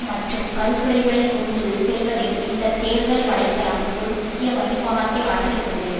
மற்றும் கருத்துரைகளை கொண்டு செல்வதில் இந்த தேர்தல் வலை தளம் ஒரு முக்கிய வகிபாகத்தை ஆற்றியுள்ளது